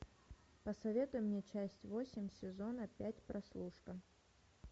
посоветуй мне часть восемь сезона пять прослушка